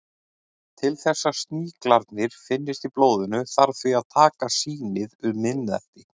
Til þess að sníklarnir finnist í blóðinu þarf því að taka sýnið um miðnætti.